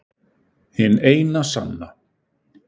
Hin eina sanna